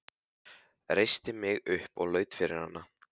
Reisti mig upp og laut yfir hana.